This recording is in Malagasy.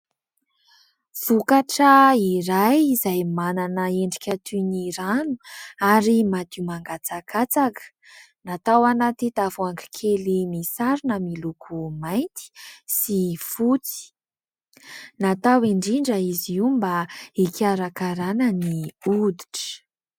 Vokatra iray izay manana endrika toy ny rano ary madio mangatsakatsaka, natao anaty tavoahangy kely misarona miloko mainty sy fotsy. Natao indrindra izy io mba hikaraka rana ny hoditra.